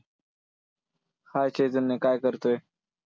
hi Chaitanya, काय करतोय?